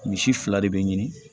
Misi fila de be ɲini